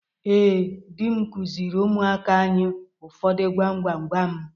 Ee, di m kụziiri ụmụaka anyị ụfọdụ gwam gwam gwam.